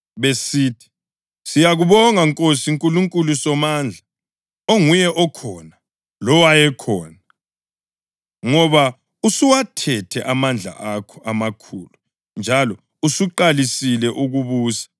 besithi: “Siyakubonga Nkosi Nkulunkulu Somandla, onguye okhona lowayekhona, ngoba usuwathethe amandla akho amakhulu njalo usuqalisile ukubusa.